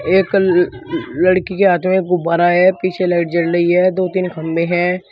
एक ल लड़की के हाथ में गुब्बारा है पीछे लाइट जल रही है दो तीन खंबे है।